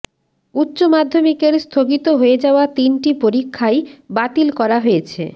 উচ্চমাধ্যমিকের স্থগিত হয়ে যাওয়া তিনটি পরীক্ষাই বাতিল করা হয়েছে